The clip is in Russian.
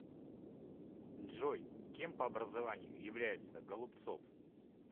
джой кем по образованию является голубцов